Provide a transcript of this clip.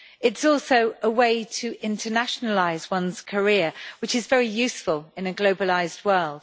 It is also a way to internationalise one's career, which is very useful in a globalised world.